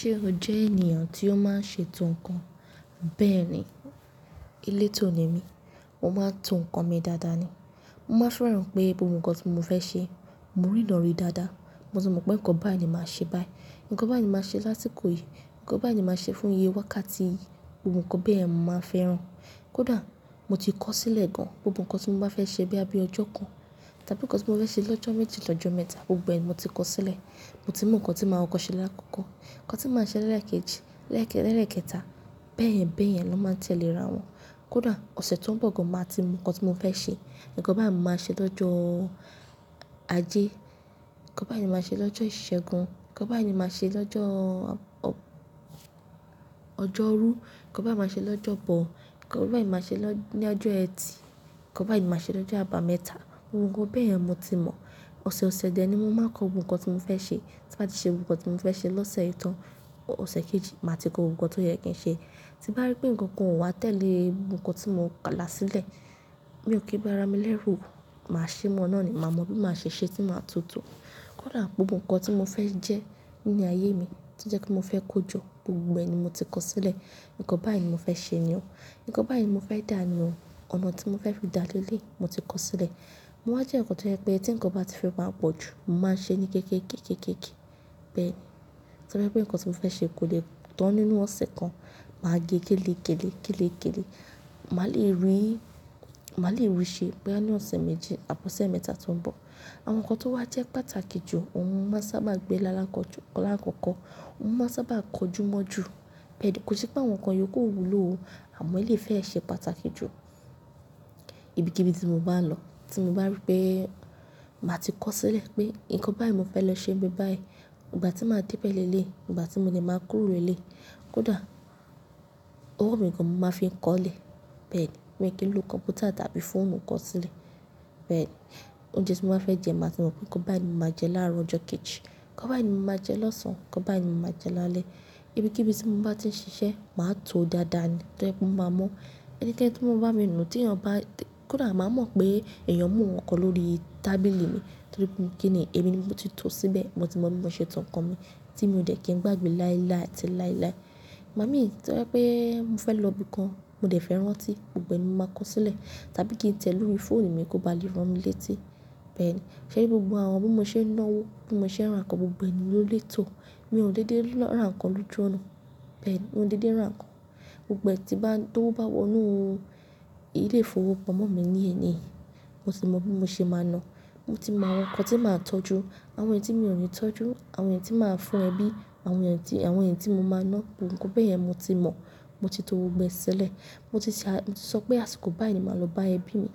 Ṣé o jẹ́ ènìyàn tí ó máa ń ṣe ètò ǹkan? Bẹ́ẹ̀ni, elétò ni mí, mo máa ń tò ǹkan mi dáadáa ni. Mo máa ń fẹ́ràn pé gbogbo ǹkan tí mo fẹ́ ṣe, mo rí na rí dáadáa. Mo ti mọ̀ pé ǹkan báyìí ni màá ṣe báyìí, ǹkan báyìí ni màá ṣe sásìkò yìí, ǹkan báyìí ni màá ṣe fún iye wákàtí yìí. Gbogbo ǹkan bẹ́ẹ̀ ni mo máa fẹ́ ràn án. Kódà mo ti kọ́ sílẹ̀ gan, gbogbo ǹkan tí mo bá fẹ́ ṣe bóyá bí ọjọ́ kan, tàbí ǹkan tí mo fẹ́ ṣe lọ́jọ́ méjì, lọ́jọ́ mẹ́ta, gbogbo ẹ̀ ni mo ti kọ́ sílẹ̀. Mo ti mú ǹkan tí màá wọ̀ kọ́ ṣe láàkọ́kọ́, ǹkan tí màá ṣe lẹ́ẹ̀kejì, lẹ́ẹ̀kẹta, bẹ́ẹ̀yẹn bẹ́ẹ̀yẹn ló máa ń tẹ̀lé ra wọn. Kódà ọ̀sẹ̀ tó ń bọ̀ gan, màá ti mọ̀ ǹkan tí mo fẹ́ ṣe. Ǹkan báyìí ni màá ṣe lọ́jọ́ ajé, ǹkan báyìí ni màá ṣe lọ́jọ́ ìṣẹ́gun, ǹkan báyìí ni màá ṣe lọ́jọ́ ọrú, ǹkan báyìí ni màá ṣe lọ́jọ́ bọ̀, ǹkan báyìí ni màá ṣe ní ọjọ́ ẹtì, ǹkan báyìí ni màá ṣe lọ́jọ́ àbámẹ́ta. Gbogbo ǹkan bẹ́ẹ̀ yẹn mo ti mọ̀. Ọ̀sẹ̀ ọ̀sẹ̀ dẹ̀ ni mo máa ń kọ gbogbo ǹkan tí mo fẹ́ ṣe. Tí bá ti ṣe gbogbo ǹkan tí mo fẹ́ ṣe lọ́sẹ̀ yìí tán, ọ̀sẹ̀ kejì màá ti kọ gbogbo ǹkan tó yẹ kí n ṣe. Tí bá rí pé ǹkan kan ò wá tẹ̀lé gbogbo ǹkan tí mo kà là sílẹ̀, mi ò kí ń ba ara mi lẹ́rù. Màá ṣe mọ́ ọ́nà ni, màá mọ bí màá ṣe ṣe tí màá tutọ́. Kódà gbogbo ǹkan tí mo fẹ́ jẹ́ nínú ayé mi tí ó jẹ́ kí mo fẹ́ kojọ́, gbogbo ẹ̀ ni mo ti kọ́ sílẹ̀. Ǹkan báyìí ni mo fẹ́ ṣe ni o. Ǹkan báyìí ni mo fẹ́ dà ni o. Ọ̀nà tí mo fẹ́ fi da leleyi mo ti kọ́ sílẹ̀. Mo máa ń jẹ́ ǹkan tó jẹ́ pé tí ǹkan bá ti fẹ́ máa pọ̀ jù, mo máa ń ṣe ní kéékèékee keekéékèé. Bẹ́ẹ̀ ni. Tó rí pé ǹkan tí mo fẹ́ ṣe kò lè tán nínú ọ̀sẹ̀ kan, màá gẹ́ kélekéle kélekéle. Màá lè rí, màá le rí i ṣe boya ní ọ̀sẹ̀ méjì, àbí ọ̀sẹ̀ mẹ́ta tó ń bọ̀. Àwọn ǹkan tó wá jẹ́ pàtàkì jù, òun máa sábà gbé lálakoju lala koko. Òun máa sábà kojú mọ́ jù. Bẹ́ẹ̀ ni. Kò sí pé àwọn ǹkan yòókù ò wúlò o, àmọ́ elèyi fẹ́ ṣe pàtàkì jù. Ibi kí ibi tí mo bá lọ, tí mo bá rí pé màá ti kọ́ sílẹ̀ pé ǹkan báyìí mo fẹ́ lọ ṣe ńbí báyìí, ìgbà tí màá dé bẹ̀rẹ̀ lélẹ̀yi, ìgbà tí mo dẹ̀ máa kúrò lélẹ̀yi, kódà owó mi gan ni mo máa fi ń kọ́lẹ̀. Bẹ́ẹ̀ ni. Mi ò kí ń lo kọ̀m̀pútà tàbí fóònù kọ́ sílẹ̀. Bẹ́ẹ̀ ni. Oúnjẹ tí mo máa fẹ́ jẹ, màá ti mọ̀ pé ǹkan báyìí ni màá jẹ láàárọ̀ ọjọ́ kejì, ǹkan báyìí ni màá jẹ lọ́sàn-án, ǹkan báyìí ni màá jẹ lálẹ́. Ibi kí ibi tí mo bá ti ń ṣiṣẹ́, màá to dáadáa ni. Tó jẹ́ pé ó ma mọ̀ ẹni kẹ́ẹ́nì tí mo bá rí nùú tí èèyàn bá-- kódà màá mọ̀ pé èèyàn mú ǹkan lórí tábìlì mi, torí pé mo kí ni, èmi ni mo ti tò ó síbẹ̀. Mo ti mọ bí mo ṣe tò ǹkan mi tí mo dẹ̀ kí n gbàgbé láíláí àti láíláí. Ìgbà mi tó yẹ pé mo fẹ́ lọ ibi kan, mo dẹ̀ fẹ́ rán tí, gbogbo ẹ̀ ni mo máa kọ́ sílẹ̀. Tàbí kí n tẹ̀ lórí fóònù mi kó ba lè rán mi létí. Bẹ́ẹ̀ ni. Ṣé rí gbogbo àwọn bí mo ṣé ń náwó, bí mo ṣé ń rán ǹkan gbogbo ẹ̀ ni ló lè tò. Mi ò de dé ló rán ǹkan lójooju ọ̀nà. Bẹ́ẹ̀ ni. Mo dè dé rán ǹkan. Gbogbo è tó bá wọ inú ilé ìfowópamọ́ mi ní èní, mo ti mọ bí mo ṣe máa ná. Mo ti mọ àwọn ǹkan tí màá tọ́jú, àwọn èyí tí mi ò ní tọ́jú, àwọn èyí tí màá fún ẹbí, àwọn èyí tí, àwọn èyí tí mo máa ná, gbogbo ǹkan bẹ́ẹ̀ yẹn mo ti mọ̀. Mo ti tò gbogbo ẹ sílẹ̀ moti se. Mo ti sọ pé àsìkò báyìí ni màá lọ bá ẹbí mi,